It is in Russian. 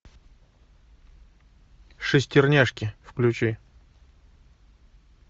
шестерняшки включи